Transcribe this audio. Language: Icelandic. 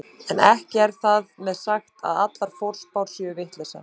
En ekki er þar með sagt að allar forspár séu vitleysa.